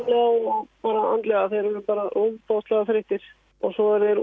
og andlega þeir eru bara ofboðslega þreyttir og svo eru